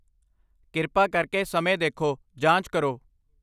ਕਿਰਪਾ ਕਰਕੇ ਸਮੇਂ ਦੇਖੋ, ਜਾਂਚ ਕਰੋ।